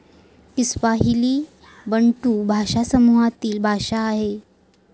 Kiswahili Bantu भाषा समूहातील भाषा आहे.